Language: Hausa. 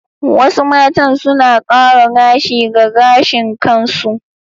Wasu matan suna kara gashi ga gashin kansu.